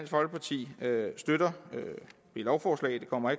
folkeparti støtter dette lovforslag det kommer